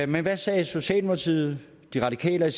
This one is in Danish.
men hvad sagde socialdemokratiet de radikale og